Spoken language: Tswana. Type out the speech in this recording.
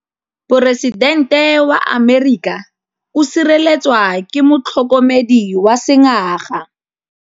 Poresitêntê wa Amerika o sireletswa ke motlhokomedi wa sengaga.